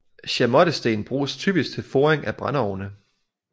Chamottesten bruges typisk til foring af brændeovne